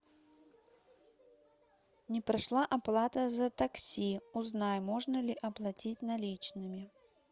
не прошла оплата за такси узнай можно ли оплатить наличными